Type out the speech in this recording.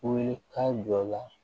Wuli ka jɔ la